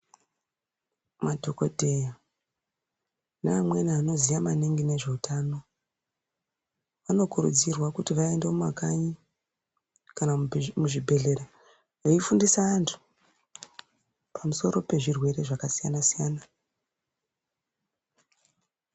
Madhogodheya neamweni anoziya maningi ngezveutano. Vanokurudzirwa kuti vaende mumakanyi kana muzvibhedhlera veifundisa antu pamusoro pezvirwe zvakasiyana-siyana.